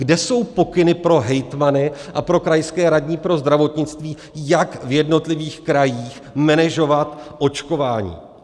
Kde jsou pokyny pro hejtmany a pro krajské radní pro zdravotnictví, jak v jednotlivých krajích menežovat očkování?